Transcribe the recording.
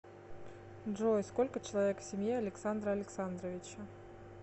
джой сколько человек в семье александра александровича